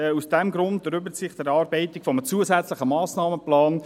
Aus diesem Grund erübrigt sich die Erarbeitung eines zusätzlichen Massnahmenplans.